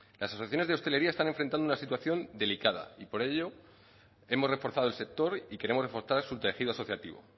las asociaciones de hostelería se están enfrentando a una situación delicada y por ello hemos reforzado el sector y queremos reforzar su tejido asociativo